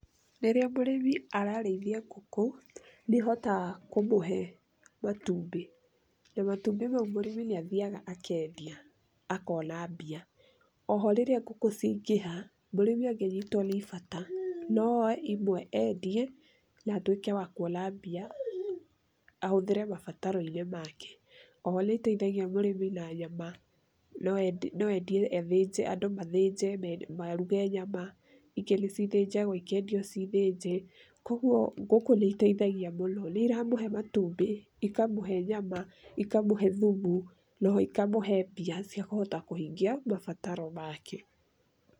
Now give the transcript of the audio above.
Rĩrĩa mũrĩmi ararĩithia ngũkũ nĩihotaga kũmũhe matumbĩ, na matũmbĩ mau mũrĩmi nĩathiaga akendia akona mbia. Oho rĩrĩa ngũkũ ciaingĩha mũrĩmi angĩnyitwo nĩ bata, no oe imwe endie, na atuĩke ya kwona mbia ahũthĩre mabataroinĩ make. Oho nĩ itethagia mũrĩmi na nyama, no endie andũ mathĩje, maruge nyama ingĩ nĩcithĩjagwo ikendio cithĩnjĩ, koguo ngũkũ nĩ itethagia mũno. Nĩ iramũhe matumbĩ, ikamũhe nyama, ikamũhe thumu noho ikamũhe mbia ciakũhota kũhingia mabataro make.